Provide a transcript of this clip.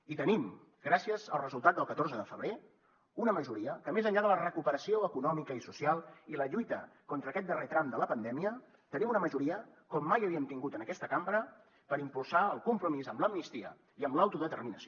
i tenim gràcies al resultat del catorze de febrer una majoria que més enllà de la recuperació econòmica i social i la lluita contra aquest darrer tram de la pandèmia tenim una majoria com mai havíem tingut en aquesta cambra per impulsar el compromís amb l’amnistia i amb l’autodeterminació